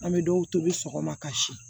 An bɛ dɔw tobi sɔgɔma kasi